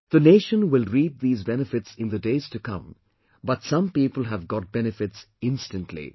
The nation will reap these benefits in the days to come but some people have got benefits instantly